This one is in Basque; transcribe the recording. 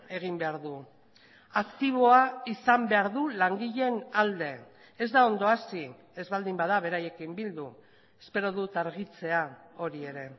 egin behar du aktiboa izan behar du langileen alde ez da ondo hasi ez baldin bada beraiekin bildu espero dut argitzea hori ere